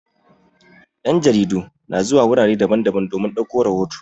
Yan' jaridu na zuwa wurare daban-daban domin ɗauko rahoto.